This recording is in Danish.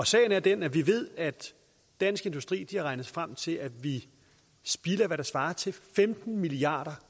sagen er den at vi ved at dansk industri har regnet sig frem til at vi spilder hvad der svarer til femten milliard